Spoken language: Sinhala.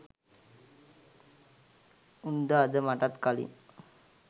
උන්ද අද මටත් කලින්